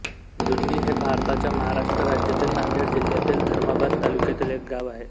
जुन्नी हे भारताच्या महाराष्ट्र राज्यातील नांदेड जिल्ह्यातील धर्माबाद तालुक्यातील एक गाव आहे